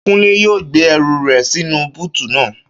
Kúnlé yóò gbé ẹrù rẹ̀ sínú búùtù naa